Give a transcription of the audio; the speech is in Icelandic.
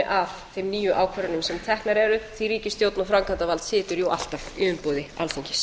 að þeim nýju ákvörðunum sem teknar eru því að ríkisstjórn og framkvæmdarvald situr jú alltaf í umboði alþingis